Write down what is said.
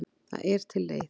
Það er til leið.